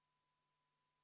V a h e a e g